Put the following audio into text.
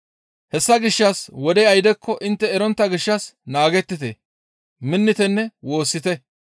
Hessa gishshas wodey aydekko intte erontta gishshas naagettite, minnitenne woossite.